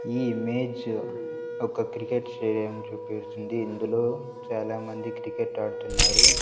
ఈ ఇమేజ్ ఒక cricket stadium చూపిస్తుంది ఇందులో చాలామంది క్రికెట్ ఆడుతున్నారు.